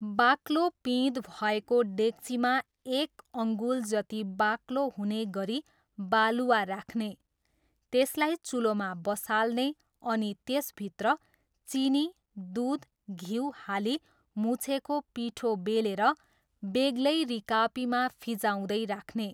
बाक्लो पिँध भएको डेक्चीमा एक अङ्गुल जति बाक्लो हुने गरी बालुवा राख्ने, त्यसलाई चुलोमा बसाल्ने अनि त्यसभित्र चिनी, दुध, घिउ हाली मुछेको पिठो बेलेर बेग्लै रिकापीमा फिँजाउदै राख्ने।